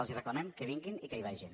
els reclamem que vinguin i que hi vagin